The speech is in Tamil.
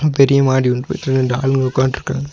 பெரிய மாடி ரெண்டு ஆளுங்க உக்கான்ட்ருக்காங்க.